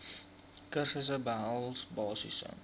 kursusse behels basiese